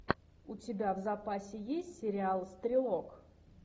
у тебя в запасе есть сериал стрелок